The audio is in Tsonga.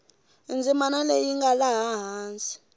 ndzimana leyi nga laha hansi